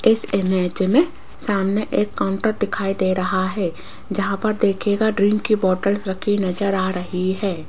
इस इमेज में सामने एक काउंटर दिखाई दे रहा हैं जहां पर देखिएगा ड्रिंक की बॉटल्स रखी नजर आ रही है।